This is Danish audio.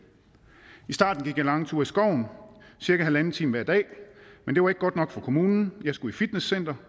i starten gik jeg lange ture i skoven cirka en en halv time hver dag men det var ikke godt nok for kommunen jeg skulle i fitnesscenter